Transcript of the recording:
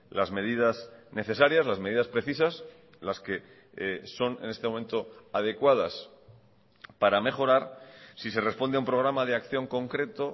las medidas necesarias las medidas precisas las que son en este momento adecuadas para mejorar si se responde a un programa de acción concreto